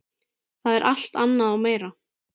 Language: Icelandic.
Það er alt annað og meira.